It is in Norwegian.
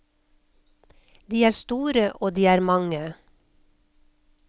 De er store, og de er mange.